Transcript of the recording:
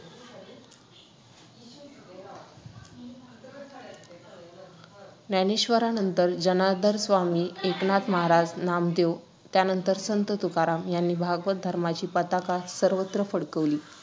ज्ञानेश्वरानंतर जनार्दन स्वामी, एकनाथ महाराज, नामदेव आणि त्यानंतर संत तुकाराम यांनी भागवत धर्माची पताका सर्वत्र फडकवली.